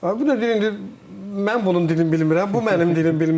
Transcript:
bu da deyir indi mən bunun dilini bilmirəm, bu mənim dilimi bilmir.